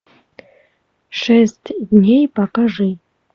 шесть дней покажи